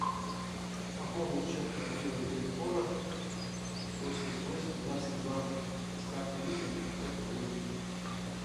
пополнить счет мобильного телефона восемьдесят восемь двадцать два с карты виза на пятьсот рублей